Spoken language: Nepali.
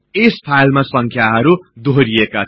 यस फाईलमा संख्याहरु दोहोरिएका छन्